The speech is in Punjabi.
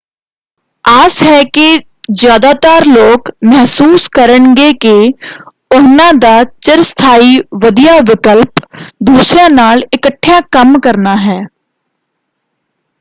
ਆਸ ਹੈ ਕਿ ਜ਼ਿਆਦਾਤਰ ਲੋਕ ਮਹਿਸੂਸ ਕਰਨਗੇ ਕਿ ਉਹਨਾਂ ਦਾ ਚਿਰਸਥਾਈ ਵਧੀਆ ਵਿਕਲਪ ਦੂਸਰਿਆਂ ਨਾਲ ਇਕੱਠਿਆਂ ਕੰਮ ਕਰਨਾ ਹੈ।